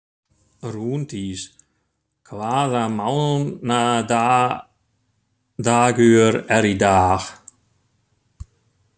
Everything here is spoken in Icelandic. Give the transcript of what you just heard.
Rúndís, hvaða mánaðardagur er í dag?